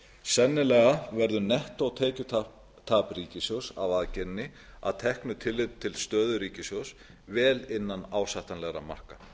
sennilega verður nettótekjutap ríkissjóðs af aðgerðinni að teknu tilliti til stöðu ríkissjóðs vel innan ásættanlegra marka